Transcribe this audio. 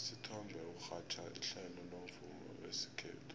usithombe urhatjha ihlelo lomvumo wesikhethu